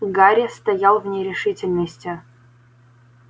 гарри стоял в нерешительности